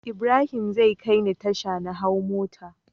Ibrahim zai kai ni tasha na hau mota